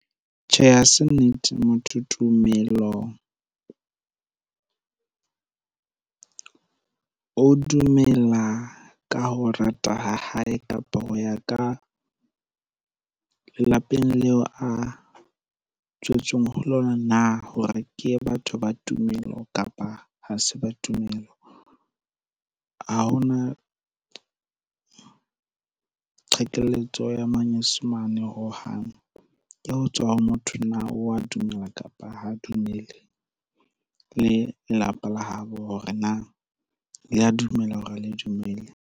Tjhe, ha se nnete motho tumelong. O dumela ka ho rata ha hae kapa ho ya ka lelapeng leo a tswetsweng ho lona na hore ke ye batho ba tumelo kapa ha se ba tumelo? Ha ho na qhekelletso ya manyesemane hohang, ke ho tswa ho motho na wa dumela kapa ho dumele, le lelapa la habo hore na le a dumela hore ha le dumele?